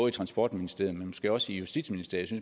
i transportministeriet men måske også i justitsministeriet jeg